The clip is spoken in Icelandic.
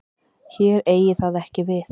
Hér eigi það ekki við.